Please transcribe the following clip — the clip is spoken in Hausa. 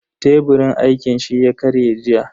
Teburin aikin shi ya karye jiya.